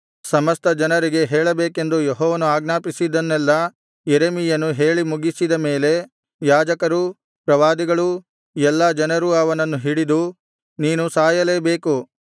ಸಮಸ್ತಜನರಿಗೆ ಹೇಳಬೇಕೆಂದು ಯೆಹೋವನು ಆಜ್ಞಾಪಿಸಿದ್ದನ್ನೆಲ್ಲಾ ಯೆರೆಮೀಯನು ಹೇಳಿ ಮುಗಿಸಿದ ಮೇಲೆ ಯಾಜಕರೂ ಪ್ರವಾದಿಗಳೂ ಎಲ್ಲಾ ಜನರೂ ಅವನನ್ನು ಹಿಡಿದು ನೀನು ಸಾಯಲೇಬೇಕು